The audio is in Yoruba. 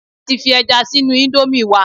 A ti fi ẹja sínú íńdómì wa